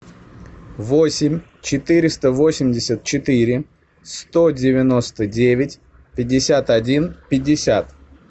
восемь четыреста восемьдесят четыре сто девяносто девять пятьдесят один пятьдесят